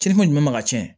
Cili kun jumɛn ma cɛn